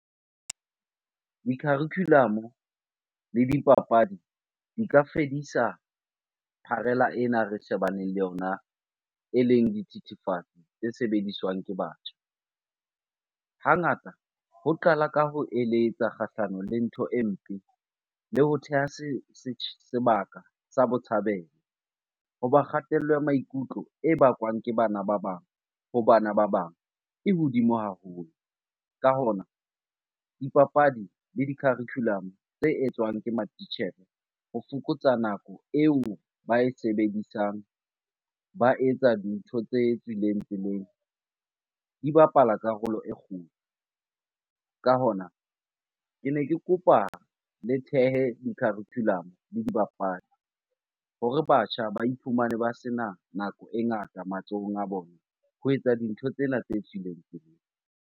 Di-curriculum-o le dipapadi di ka fedisa pharela ena re shebaneng le yona, eleng dithethefatsi tse sebediswang ke batho. Hangata ho qala ka ho eletsa kgahlano le ntho e mpe le ho theha sebaka sa botshabelo. Hoba kgatello ya maikutlo e bakwang ke bana ba bang ho bana ba bang e hodimo haholo. Ka hona, dipapadi le di-curriculum-o tse etswang ke matitjhere ho fokotsa nako eo ba e sebedisang ba etsa dintho tse tswileng tseleng di bapala karolo e kgolo. Ka hona, kene ke kopa le thehe di-curriculum-o le dibapadi hore batjha ba iphumane ba sena nako e ngata matsohong a bona ho etsa dintho tsena tse tswileng tseleng.